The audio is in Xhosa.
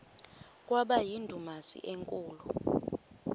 kwaba yindumasi enkulu